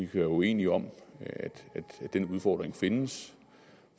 være uenige om at den udfordring findes